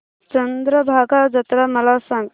चंद्रभागा जत्रा मला सांग